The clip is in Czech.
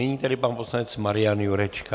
Nyní tedy pan poslanec Marian Jurečka.